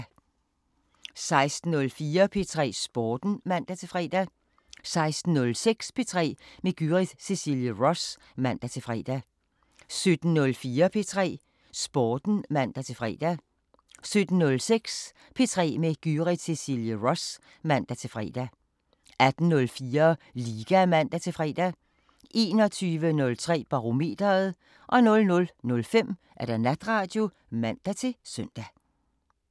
16:04: P3 Sporten (man-fre) 16:06: P3 med Gyrith Cecilie Ross (man-fre) 17:04: P3 Sporten (man-fre) 17:06: P3 med Gyrith Cecilie Ross (man-fre) 18:04: Liga (man-fre) 21:03: Barometeret 00:05: Natradio (man-søn)